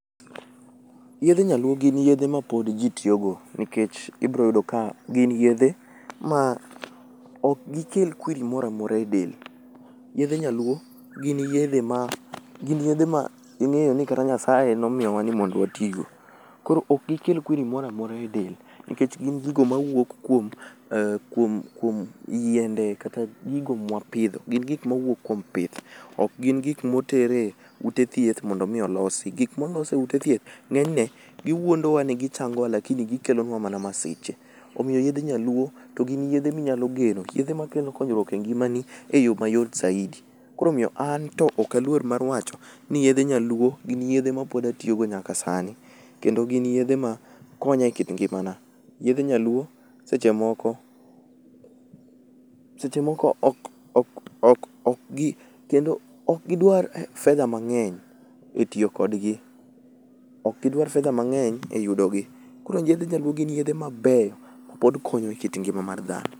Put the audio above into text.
Yedhe nyaluo gin yedhe mapod ji tiyogo, nikech ibroyudo ka gin yedhe ma ok gikel kwiri moramora e del. Yedhe nyaluo gin yedhe ma ing'eyo ni kata Nyasaye nomiyowa ni mondo watigo. Koro ok gike kwiri moramora e del, nikech gin gigo mawuok kuom yiende kata gigo mwapidho. Gin gik mawuok kuom pith, ok gin gik motere ute thieth mondo mi olosi. Gik molos e ute thieth ng'enyne giwuondowa ni gichangowa lakini gikelonwa mana masiche. Omiyo yedhe nyaluo to gin yedhe minyalo geno, yedhe makelo konyruok e ngimani e yo ma yot saidi. Koro omiyo anto okaluor mar wacho ni yedhe nyaluo gin yedhe ma pod atiyogo nyaka sani. Kendo gin yedhe ma konya e kit ngimana. Yedhe nyaluo seche moko, seche moko ok gidwar fedha mang'eny e tiyo kodgi. Ok gidwar fedha mang'eny e yudogi, koro yedhe nyaluo gin yedhe mabeyo mapod konyo e kit ngima mar dhano.